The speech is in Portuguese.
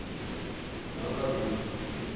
Então era Brasília. Uhum.